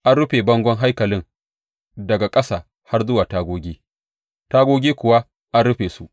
An rufe bangon haikalin daga ƙasa har zuwa tagogi, tagogin kuwa an rufe su.